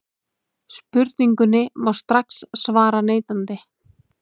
Spurningunni má strax svara neitandi.